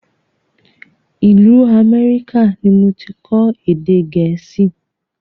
Ìlú Amẹ́ríkà ni moti kọ́ èdè gẹ̀ẹ́sì